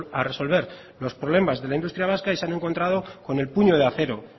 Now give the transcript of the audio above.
a resolver los problemas de la industria vasca y se han encontrado con el puño de acero